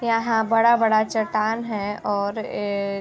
यहाँ बड़ा-बड़ा चट्टान है और एक --